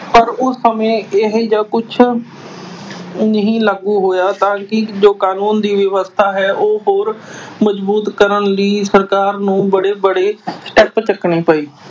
ਪਰ ਉਸ ਸਮੇਂ ਇਹੋ ਜਿਹਾ ਕੁਛ ਨਹੀਂ ਲਾਗੂ ਹੋਇਆ ਜੋ ਕਾਨੂੰਨ ਦੀ ਵਿਵਸਥਾ ਹੈ, ਉਸਨੂੰ ਹੋਰ ਮਜ਼ਬੂਤ ਕਰਨ ਲਈ ਸਰਕਾਰ ਨੂੰ ਵੱਡੇ ਵੱਡੇ step ਚੱਕਣੇ ਪਏ